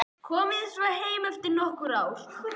Komið svo heim eftir nokkur ár.